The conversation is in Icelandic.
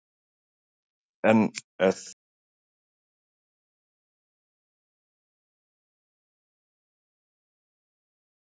En er þetta mikill eða lítill fjöldi, til dæmis miðað við nágrannalöndin?